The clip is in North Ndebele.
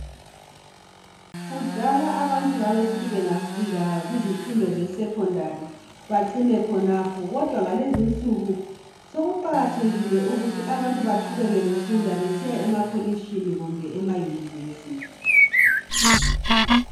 kudala abantu babesithi bengafika kumfundo ze secondary bacine khonapho kodwa kulezinsuku sokuqakathekile ukuthi abantu baqhubeke befunda besiya ema kolitshini kumbe ema universe